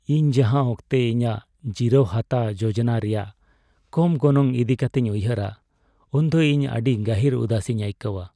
ᱤᱧ ᱡᱟᱦᱟᱸ ᱚᱠᱛᱮ ᱤᱧᱟᱹᱜ ᱡᱤᱨᱟᱹᱣ ᱦᱟᱛᱟᱣ ᱡᱳᱡᱚᱱᱟ ᱨᱮᱭᱟᱜ ᱠᱚᱢ ᱜᱚᱱᱚᱝ ᱤᱫᱤ ᱠᱟᱛᱮᱧ ᱩᱭᱦᱟᱹᱨᱟ, ᱩᱱᱫᱚ ᱤᱧ ᱟᱹᱰᱤ ᱜᱟᱹᱦᱤᱨ ᱩᱫᱟᱹᱥᱤᱧ ᱟᱹᱭᱠᱟᱹᱣᱟ ᱾